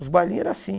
Os bailinhos eram assim.